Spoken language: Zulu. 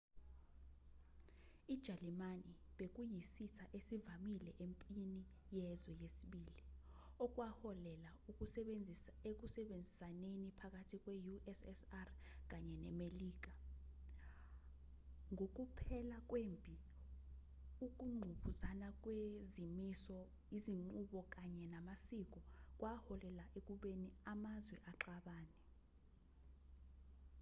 ijalimane bekuyisitha esivamile empini yezwe 2 okwaholela ekusebenzisaneni phakathi kwe-ussr kanye nemelika ngokuphela kwempi ukungqubuzana kwezimiso izinqubo kanye namasiko kwaholela ekubeni amazwe axabane